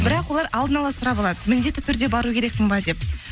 бірақ олар алын ала сұрап алады міндетті түрде бару керекпін бе деп